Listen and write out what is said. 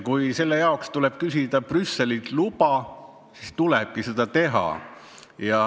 Kui selle jaoks tuleb küsida Brüsselilt luba, siis peamegi seda tegema.